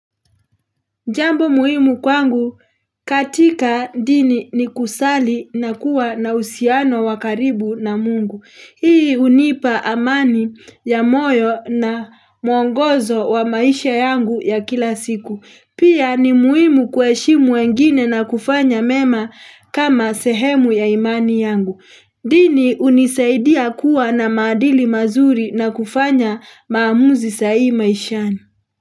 Jambo muhimu kwangu katika dini ni kusali na kuwa na uhusiano wa karibu na mungu. Hii hunipa amani ya moyo na mwongozo wa maisha yangu ya kila siku. Pia ni muhimu kueshimu wengine na kufanya mema kama sehemu ya imani yangu. Dini unisaidia kuwa na maadili mazuri na kufanya maamuzi sahihi maishani.